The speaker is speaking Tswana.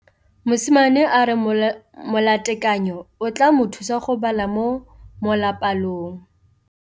Mosimane a re molatekanyô o tla mo thusa go bala mo molapalong.